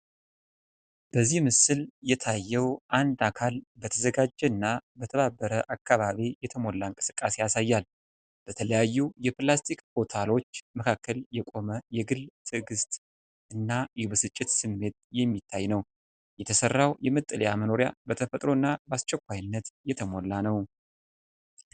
በዚህ ምስል የታየው አንድ አካል በተዘጋጀ እና በተባበረ አካባቢ የተሞላ እንቅስቃሴ ያሳያል። በተለያዩ የፕላስቲክ ቦታሎች መካከል የቆሞ የግል ትግስት እና የብስጭት ስሜት የሚታይ ነው። የተሰራው የመጠለያ መኖሪያ በተፈጥሮ እና በአስቸኳይነት የተሞላ ነው።